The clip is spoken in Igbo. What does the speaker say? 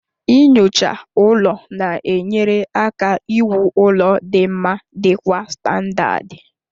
Nyocha ụlọ na-enyere aka iwu ụlọ dị mma dị kwa standadi